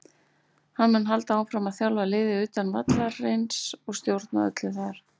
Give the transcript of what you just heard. Hann mun halda áfram að þjálfa liðið utan vallarins og stjórna öllu þar.